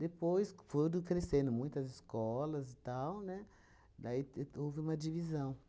Depois foram crescendo muitas escolas e tal, né, daí te houve uma divisão.